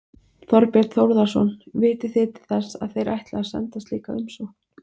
Þorbjörn Þórðarson: Vitið þið til þess að þeir ætli að senda slíka umsókn?